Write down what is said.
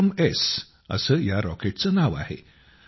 विक्रमएस असे या रॉकेटचे नाव आहे